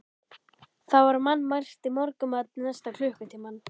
Það var mannmargt í morgunmatnum næsta klukkutímann.